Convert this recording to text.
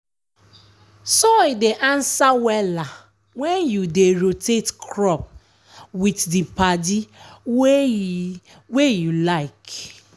soil dey answer wella when you dey rotate crop with the padi wey e wey e like.